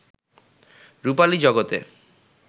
রূপালী জগতে